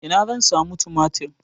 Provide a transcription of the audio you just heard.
Ina zan samu tumatir?